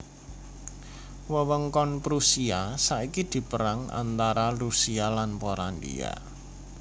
Wewengkon Prusia saiki dipérang antara Rusia lan Polandia